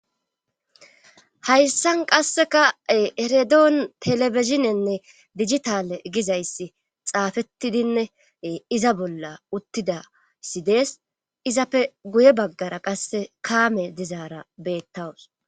Hayssan qasseka eredoon telebizinenne digitale gizayssi xaafettidinne iza bolla uttidasi dees izapfe guye baggara qasse kaame dizaara bettawus